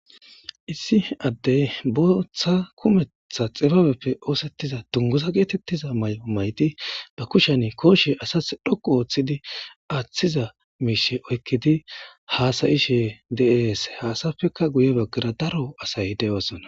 Issi addey booththa kumeththa xibaabeppe oothetiza dunguza gettetiza maayo maayidi ba Kushshen kooshshe Asasi dhoqqu oththidi aththiza mishsha oyikidi hasa'ishe de'es.izapeka guye baggara daro asay dees.